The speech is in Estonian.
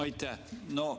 Aitäh!